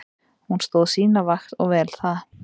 Hún stóð sína vakt og vel það.